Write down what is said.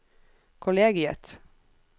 kollegiet